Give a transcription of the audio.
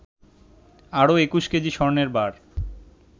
আরো ২১ কেজি স্বর্ণের বার